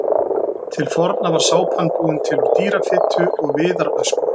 Til forna var sápan búin til úr dýrafitu og viðarösku.